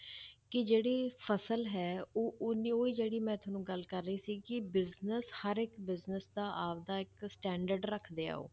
ਕਿ ਜਿਹੜੀ ਫਸਲ ਹੈ ਉਹ ਓਨੀ ਉਹੀ ਜਿਹੜੀ ਮੈਂ ਤੁਹਾਨੂੰ ਗੱਲ ਕਰ ਰਹੀ ਸੀ ਕਿ business ਹਰ ਇੱਕ business ਦਾ ਆਪਦਾ ਇੱਕ standard ਰੱਖਦੇ ਆ ਉਹ